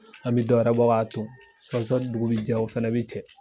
An bi dɔwɛrɛ bɔ ka ton . Sɔni dugu bi jɛ o fana be cɛ.